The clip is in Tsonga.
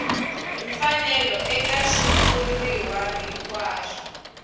hi mfanelo eka xitshuriwa hinkwaxo